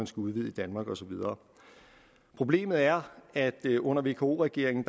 skal udvide i danmark og så videre problemet er at det under vko regeringen